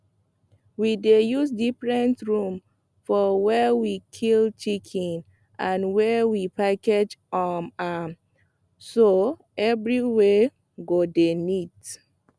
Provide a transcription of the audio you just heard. we dey use different room for where we kill chicken and where we package um am so everywhere go dey neat